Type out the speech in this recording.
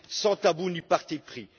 sans tabou ni parti pris.